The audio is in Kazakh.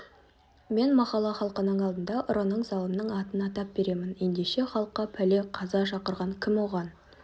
мен махалла халқының алдында ұрының залымның атын атап беремін ендеше халыққа пәле қаза шақырған кім оған